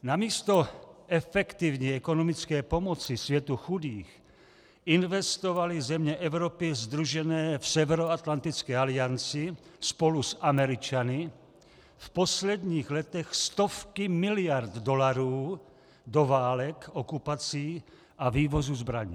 Namísto efektivní ekonomické pomoci světu chudých investovaly země Evropy sdružené v Severoatlantické alianci spolu s Američany v posledních letech stovky miliard dolarů do válek, okupací a vývozu zbraní.